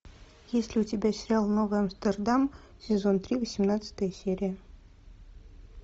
есть ли у тебя сериал новый амстердам сезон три восемнадцатая серия